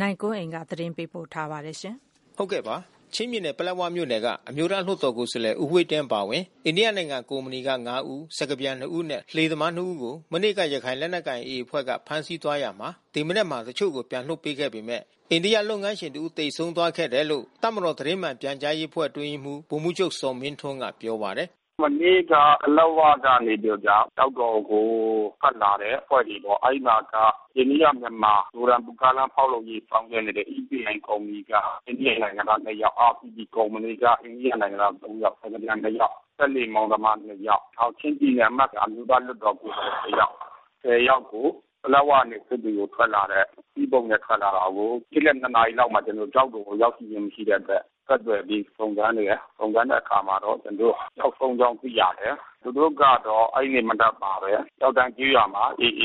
နိုင်ကွန်းအိန်ကနေ သတင်းပေး ပို့ထားပါတယ်။ ချင်းပြည်နယ်၊ ပလက်ဝမြို့နယ်က အမျိုးသားလွှတ်တော်ကိုယ်စားလှယ် ဦးဝှေ့တင်းအပါဝင် အိန္ဒိယနိုင်ငံ ကုမ္ပဏီက ၅ ဦး၊ စကားပြန် နှစ်ဦးနဲ့လှေသမားနှစ်ဦးကို မနေ့က ရခိုင်လက်နက်ကိုင် AA အဖွဲ့က ဖမ်းဆီးသွားရာမှာ ဒီမနက်မှာ တချို့ကိုပြန် လွှတ်ပေး ခဲ့ပေမဲ့အိန္ဒိယလုပ်ငန်းရှင် တဦးသေဆုံးသွားတယ်လို့ တပ်မတော်သတင်းမှန်ပြန်ကြားရေးအဖွဲ့အတွင်းရေးမှူး ဗိုလ်မှူး ချုပ်ဇော်မင်းထွန်းကပြောပါတယ်။ “မနေ့က ပလက်ဝနေပြီးတော့က ကျောက်တော်ကို ထွက်လာတဲ့အဖွဲ့တွေပေါ့။ အဲဒီမှာက အိန္ဒိယမြန်မာ မီဇိုရမ်ကားလမ်း ဖောက်လုပ်ရေးဆောင်ရွက်နေတဲ့ EPIကုမ္ပဏီက အိန္ဒိယနိုင်ငံသား နှစ်ယောက်။ RPP ကုမ္ပဏီက အိန္ဒိယနိုင်ငံသား ၃ ယောက် စကားပြန် ၂ ယောက် စက်လှေမောင်းသမား ၂ ယောက်။ နောက်ချင်းပြည်နယ်အမတ် အမျိုးသားလွှတ်တော် ကိုယ်စား လှယ်က တယောက်။ ၁၀ ယောက်ကို ပလက်ဝကနေစစ်တွေကို ထွက်လာတဲ့ စပိစ်ဘုတ်နဲ့ ထွက်လာတာကို နေ့လယ် ၂ နာရီလောက်မှာ ကျောက်တော်ကိုရောက်ရှိလာတာမရှိတဲ့အတွက် ဆက်သွယ်ပြီးစုံစမ်းနေတယ်။ စုံစမ်းတဲ့ အခါမှာတော့ ကျွန်တော်တို့ ပျောက်ဆုံးကြောင်းသိရတယ်။ သူတို့ကတော့ အဲဒီနေ့မနက်မှာပဲ ကျောက်တန်းကျေးရွာမှာ AA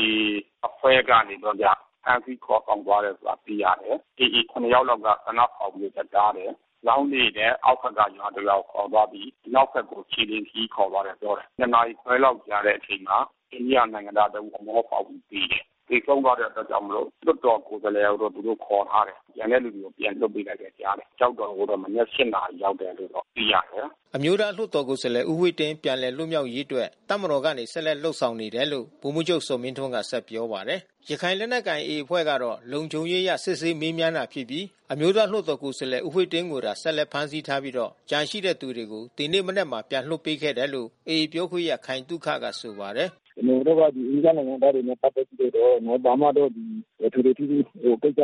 အဖွဲ့ကနေ ပြီးတော့က ဖမ်းဆီးခေါ်ဆောင်သွားတယ်ဆိုတာ သိရတယ်။ AA ၇ ယောက်လောက်က သေနတ်ဖောက်ပြီး ထွက်တားတယ်။ လောင်းလှေနဲ့အောက်ဘက်ကရွာတရွာကိုခေါ်သွားပြီး အနောက်ဘက်ကို ခြေလျှင်ခရီးခေါ်သွားတယ် ပြော တယ်။ ၂ နာရီခွဲလောက်ကြာတဲ့အချိန်မှာ အိန္ဒိယနိုင်ငံသားတဦး အမောဖောက်ပြီးသေတယ်။ သေဆုံးသွားတဲ့အတွက် ကြောင့်မို့ လို့ လွှတ်တော်ကိုယ်စားလှယ် ကိုတော့ သူတို့ခေါ်ထားတယ်။ ကျန်တဲ့သူတွေပြန်လွှတ်ပေးလိုက်ပြီးကြားတယ်။ ကျောက်တော်ကိုတော့ မနက် ၈ နာရီရောက်တယ်လို့သိရတယ်။ အဲလွှတ်တော်ကိုယ်စားလှယ်ကတော့ ဖမ်းထားတုန်းပေါ့။” အမျိုးသားလွှတ်တော်ကိုယ်စားလှယ် ဦးဝှေ့တင်း ပြန်လည်လွတ်မြောက်ရေးအတွက် တပ်မတော် ကနေ ဆက်လက်လုပ် ဆောင်နေတယ်လို့ ဗိုလ်မှူးချုပ် ဇော်မင်းထွန်းက ဆက်ပြောပါတယ်။ ရခိုင်လက်နက်ကိုင်AAအဖွဲ့ကတော့ လုံခြုံရေးအရ စစ်ဆေးမေးမြန်းတာဖြစ်ပြီး အမျိုးသား လွှတ်တော်ကိုယ်စားလှယ် ဦးဝှေ့တင်းကိုသာ ဆက်လက်ဖမ်းဆီးထားပြီး ကျန်တဲ့သူတွေကို ဒီနေ့မနက်မှာ ပြန်လွှတ်ပေးခဲ့တယ်လို့ AAပြောခွင့်ရ ခိုင်သုခက ဆိုပါတယ်။ “ကျွန်တော်တို့တော့ အိန္ဒိယနိုင်ငံသားတွေနဲ့ပက်သက်ပြီးတော့ ဘာမှတော့ ထွေထွေထူးထူး ကိစ္စ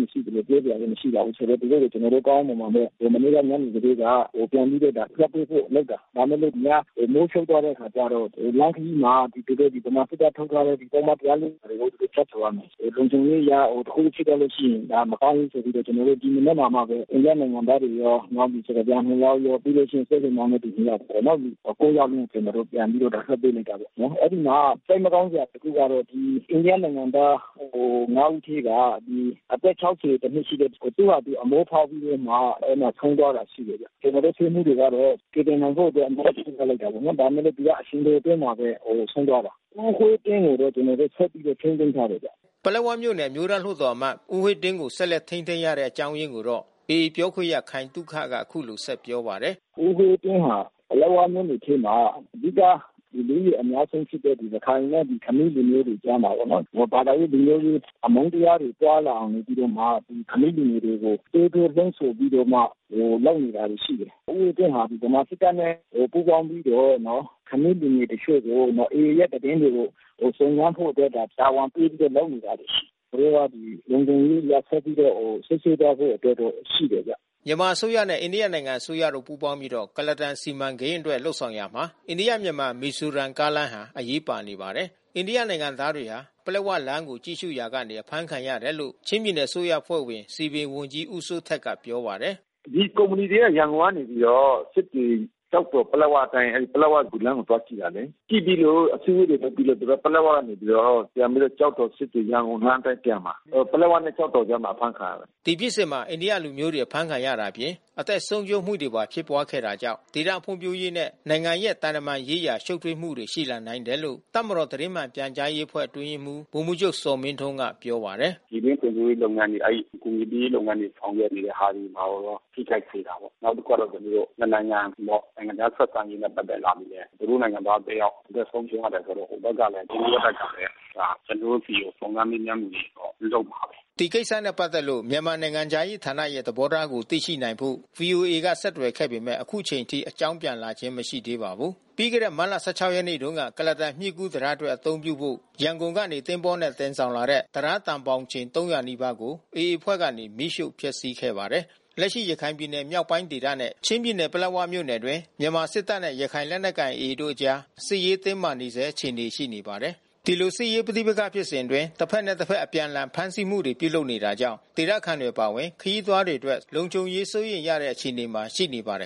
မရှိသလို ပြောစရာလည်းမရှိပါဘူး ဆိုတော့ သူတို့ကို ကောင်းကောင်းမွန်မွန်ပဲ မနေ့ကညနေကတည်းက ပြန်လွှတ်ပေးဖို့လုပ်တာ။ ဒါပေမဲ့လို့ ညမိုးချုပ် သွားတဲ့ အခါကျတော့ လမ်းခရီးမှာ သူတို့ဗမာစစ်တပ်ထုတ်ထားတဲ့ ပုဒ်မ ကို သူတို့ဖြတ်ကျော် ရမယ်ဆိုတော့ လုံခြုံရေး အရတခုခုဖြစ်သွားလို့ရှိရင် ဒါမကောင်းဘူးဆိုပြီးတော့ ကျွန်တော်တို့ ဒီမနက်မှာမှပဲ အိန္ဒိယနိုင်ငံသားတွေရော စကား ပြန်နှစ်ယောက်ရော နောက်စက်လှေမောင်းသူနှစ်ယောက်ပေါ့နော် ယောက်လုံးကျွန်တော်တို့ ပြန်လွှတ်ပေးလိုက်တာ ပေါ့နော်။ အဲဒီမှာစိတ်မကောင်းစရာတခုကတော့ အိန္ဒိယနိုင်ငံသား ဦးထဲက အသက် နှစ်ရှိတဲ့ သူ့ဟာသူ အမော ဖောက်ပြီးတော့ အဲဒီမှာဆုံးသွားတာရှိတယ်ဗျ။ ကျွန်တော်တို့ဆေးမှူးတွေကတော့ ကယ်တင်နိုင်ဖို့အတွက် အများကြီး လုပ်တာပေါ့နော်။ ဒါပေမဲ့လို့သူကအချိန်တို အတွင်းမှာ ဆုံးသွားတာ။ ဦးဝှေ့တင်းကိုတော့ ကျွန်တော်တို့ဆက်ပြီးတော့ ထိန်းသိမ်းထား တာရှိ တယ်ဗျ။" ပလက်ဝမြို့နယ် အမျိုးသားလွှတ်တော်အမတ် ဦးဝှေ့တင်းကို ဆက်လက်ထိန်းသိမ်းထားတဲ့ အကြောင်းရင်းကိုတော့ AAပြောခွင့်ရ ခိုင်သုခကအခုလိုဆက်ပြောပါတယ်။ “ဦးဝှေ့တင်းဟာ ပလက်ဝမြို့နယ်ထဲမှာ အဓိက လူဦးရေအများဆုံးဖြစ်တဲ့ ရခိုင်နဲ့ ခမီးလူမျိုးတွေ ကြားမှာပေါ့နော်။ ဘာသာရေးလူမျိုးရေး အမုန်းတရားတွေပွားလာအောင်နေပြီးတော့မှ ခမီးလူငယ်တွေကို သွေးထိုးလှုံ့ဆော်ပြီးတော့မှာ လုပ်နေတာတွေရှိတယ်။ ဦးဝှေ့တင်းဟာ ဗမာစစ်တပ်နဲ့ ပူးပေါင်းပြီးတော့ ခမီးလူငယ်တချို့ကို AAရဲ့သတင်းတွေကို စုံစမ်းဖို့အတွက် တာဝန်ပေးပြီးတော့ လုပ်နေတာရှိတယ်။ ကျွန်တော်တို့က လုံခြုံရေးအရ ဆက်ပြီးတော့စစ်ဆေးသွားဖို့ အတွက်တော့ရှိတယ်ဗျ။” မြန်မာအစိုးရနဲ့ အိန္ဒိယနိုင်ငံအစိုးရတို့ပူးပေါင်းပြီး ကုလားတန်စီမံကိန်းအတွက် လုပ်ဆောင်ရာမှာ အိန္ဒိယ-မြန်မာ-မီဇိုရမ် ကားလမ်းဟာလည်း အရေးပါနေပါတယ်။ အိန္ဒိယနိုင်ငံသားတွေဟာ ပလက်ဝလမ်းကိုကြည့်ရှုရာကနေ အဖမ်းခံရတယ်လို့ ချင်းပြည်နယ် အစိုးရအဖွဲ့ဝင် စည်ပင်ဝန်ကြီး ဦးစိုးထက်ကပြောပါတယ်။ “ဒီကုမ္ပဏီတွေက ရန်ကုန်ကနေ ပြီးတော့ စစ်တွေ ကျောက်တော်၊ ပလက်ဝလမ်းအတိုင်း ပလက်ဝဒီလမ်းကို သွားကြည့် တယ်လေ။ ကြည့်ပြီးလို့အစည်းဝေးတွေပြီးလို့ သူတို့ပလက်၀ ကနေပြီးတော့ ပြန်ပြီးတော့ကျောက်တော်-စစ်တွေ-ရန်ကုန် လမ်းအပြန်မှာ ပလက်ဝနဲ့ ကျောက်တော်ဘက်မှာ အဖမ်းခံရတာ။” ဒီဖြစ်စဉ်မှာ အိန္ဒိယလူမျိုုးတွေ အဖမ်းဆီးခံရတာအပြင် အသက်ဆုံးရှုံးမှုပါ ဖြစ်သွားခဲ့တာကြောင့် ဒေသဖွံ့ဖြိုးရေးနဲ့ နိုင်ငံရဲ့သံတမန် ရေးဆိုင်ရာ ရှုပ်ထွေးမှုတွေ ရှိလာနိုင်တယ်လို့ တပ်မတော်သတင်းမှန်ပြန်ကြားရေးအဖွ့ဲ အတွင်းရေးမှူး ဗိုလ်မှူးချုပ်ဇော်မင်းထွန်း ကပြောပါတယ်။ “ကျွန်တော်တို့ ပြည်တွင်းဖွံ့ဖြိုးရေးလုပ်ငန်းတွေ အဲဒီအကူညီပေးရေးလုပ်ငန်းတွေ ဆောင်ရွက်နေတဲ့ ဟာတွေရော ထိခိုက်စေတာပေါ့။နောက်တခုကတော့ နှစ်နိုင်ငံပေါ့ နိုင်ငံခြားဆက်ဆံရေး နဲ့ပတ်သက်လာလို့လည်း သူတို့ နိုင်ငံသားတယောက် အသက်ဆုံးရှုံးရတယ်ဆိုတော့ ဟိုဘက်ကလည်း အိန္ဒိယဘက်ကလည်း ကျွန်တော်တို့ဆီကို စုံစမ်းမေးမြန်းမှုတွေပြုလုပ်မှာပဲ။” ဒီကိစ္စနဲ့ပတ်သက်လို့ မြန်မာနိုင်ငံခြားရေးဌာနရဲ့ သဘောထားကို သိရှိနိုင်ဖို့ ဗွီအိုအေက ဆက်သွယ်ခဲ့ပေမယ့် အခုချိန်ထိ အကြောင်းပြန်ကြားလာခြင်း မရှိသေးပါဘူး။ ပြီးခဲ့တဲ့မတ်လ ရက်နေ့တုန်းက ကုလားတန်းမြစ်ကူးတံတားအတွက် အသုံးပြုဖို့ ရန်ကုန်ကနေ သင်္ဘောနဲ့ တင်ဆောင်လာတဲ့ တံတားသံဘောင်တန်ချိန် နီးပါးကို AAအဖွဲ့ကနေ မီးရှို့ဖျက်စီးခဲ့ပါတယ်။ လက်ရှိရခိုင်ပြည်နယ်မြောက်ပိုင်းဒေသနဲ့ ချင်းပြည်နယ်၊ ပလက်ဝမြို့နယ်အတွင်း မြန်မာစစ်တပ်နဲ့ရခိုင်လက်နက်ကိုင် AAတို့အကြား စစ်ရေးတင်းမာနေဆဲ အခြေအနေ ရှိနေပါတယ်။ ဒီလို စစ်ရေးပဋိပက္ခဖြစ်စဉ်အတွင်း တဘက်နဲ့တဘက် အပြန်အလှန် ဖမ်းဆီးမှုတွေပြုလုပ်နေတာကြောင့် ဒေသခံတွေအပါဝင် ခရီးသွားတွေအတွက် လုံခြုံရေး စိုးရိမ်နေရတဲ့ အခြေအနေမှာ ရှိနေပါတယ်